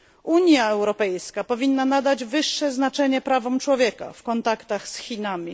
Unia Europejska powinna nadać wyższe znaczenie prawom człowieka w kontaktach z Chinami.